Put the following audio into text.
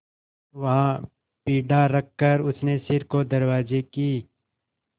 वहाँ पीढ़ा रखकर उसने सिर को दरवाजे की